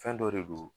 Fɛn dɔ de don